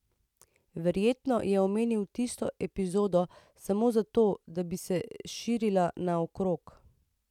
Verjetno je omenil tisto epizodo samo zato, da bi se širila naokrog.